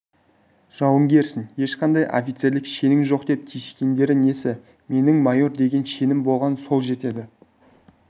жауынгерсің ешқандай офицерлік шенің жоқ деп тиіскендері несі менің майор деген шенім болған сол жетеді